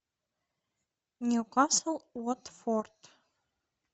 ньюкасл уотфорд